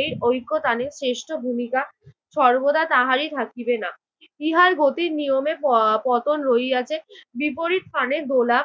এই ঐকতানে শ্রেষ্ঠ ভূমিকা সর্বদা তাহারই থাকিবে না। ইহার গতির নিয়মে প~ পতন রহিয়াছে বিপরীত স্থানে দোলা